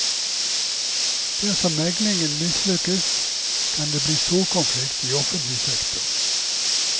Dersom meglingen mislykkes, kan det bli storkonflikt i offentlig sektor.